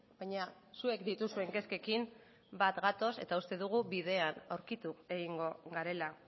baina zuek dituzuen kezkekin bat gatoz eta uste dugu bidean aurkitu egingo garela